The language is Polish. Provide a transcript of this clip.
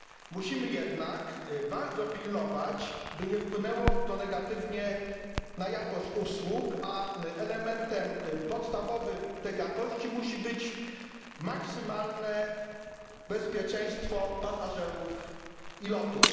Musimy jednak bardzo pilnować, by nie wpłynęło to negatywnie na jakość usług, a elementem podstawowym tej jakości musi być maksymalne bezpieczeństwo pasażerów i lotów.